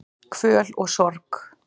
Kvöl og sorg